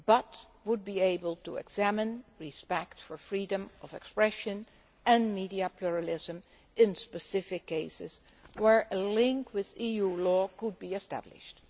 However, it would be able to examine respect for freedom of expression and media pluralism in specific cases where a link with EU law could be established.